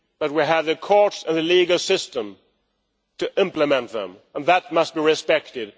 We have a court and a legal system to implement them, and that must be respected.